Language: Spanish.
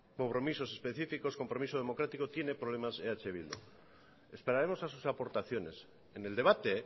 compromisos específicos compromisos democráticos tiene problemas eh bildu esperaremos a sus aportaciones en el debate